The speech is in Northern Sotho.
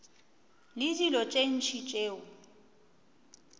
le dilo tše ntši tšeo